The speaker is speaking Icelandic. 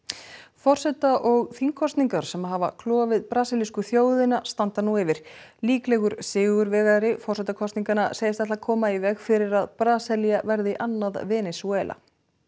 forseta og þingkosningar sem hafa klofið brasilísku þjóðina standa nú yfir líklegur sigurvegari forsetakosninganna segist ætla að koma í veg fyrir að Brasilía verði annað Venesúela